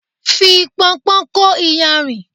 Fi Pọnpọ́n kó iyanrìn.